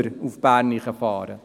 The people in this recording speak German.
wir nach Bern fahren?